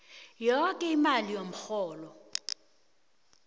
yoke imali yomrholo